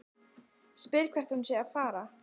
Spyr hvert hún sé að fara.